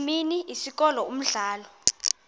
imini isikolo umdlalo